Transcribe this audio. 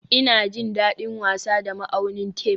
Ina jin daɗin wasa da ma'aunin tef